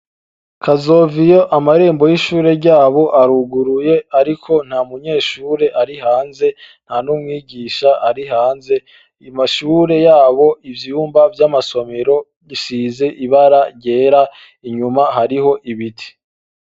Kazoviyo amarembo yishure ryabo aruguye ariko nta munyeshure ari hanze, nta n'umwigisha ari hanze. Amashure yabo ni ivyumba Vyamasomero bisize ibara ryera inyuma hariho ibiti.